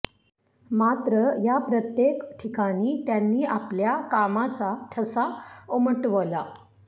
मात्र या प्रत्येक ठिकाणी त्यांनी आपल्या कामाचा ठसा उमटवला